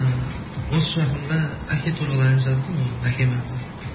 ыыы осы жақында әке туралы ән жаздым өзім әкеме арнап